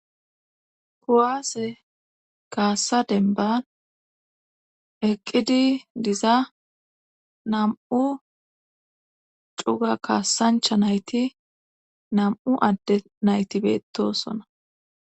kuwaase kaassa denban eqqidi diza nam7u cuga kaassancha nayti nam7u adde naytibeetosona.